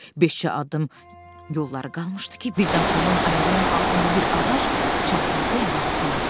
Beş-cə addım yolları qalmışdı ki, birdən Tomun ayağının altında bir ağac çatıltı ilə sındı.